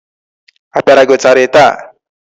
A pịara gị ụtarị taa?